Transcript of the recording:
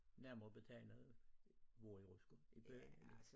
Nærmere betegnet hvor i Rutsker i Borrelyng?